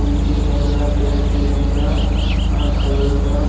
फूल के गमला पेड़ के गमला आ खलल बा।